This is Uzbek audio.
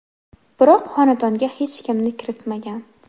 Biroq xonadonga hech kimni kiritmagan.